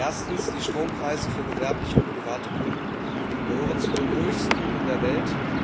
Erstens Die Strompreise für gewerbliche und private Kunden gehören zu den höchsten in der Welt.